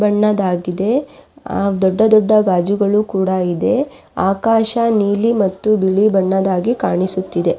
ಬಣ್ಣದಾಗಿದೆ ದೊಡ್ಡ ದೊಡ್ಡ ಗಾಜುಗಳು ಕೂಡ ಇದೆ ಆಕಾಶ ನೀಲಿ ಮತ್ತು ಬಿಳಿ ಬಣ್ಣದಾಗಿ ಕಾಣಿಸುತ್ತಿದೆ.